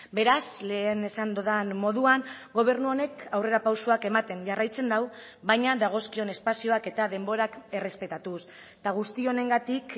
beraz lehen esan dudan moduan gobernu honek aurrerapausoak ematen jarraitzen du baina dagozkion espazioak eta denborak errespetatuz eta guztionengatik